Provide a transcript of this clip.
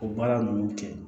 O baara ninnu kɛ